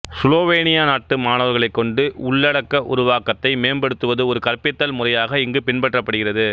சுலோவேனிய நாட்டு மாணவர்களைக் கொண்டு உள்ளடக்க உருவாக்கத்தை மேம்படுத்துவது ஒரு கற்பித்தல் முறையாக இங்கு பின்பற்றப்படுகிறது